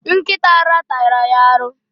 Nkita ara tara ya aru.